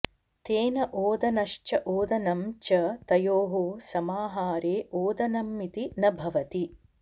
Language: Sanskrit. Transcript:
तेन ओदनश्च ओदनं च तयोः समाहारे ओदनमिति न भवति